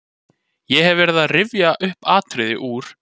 Ég hef verið að rifja upp atriði úr